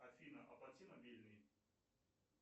афина оплати мобильный